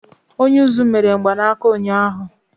Onye uzú mere mgbanaka ụnyahụ.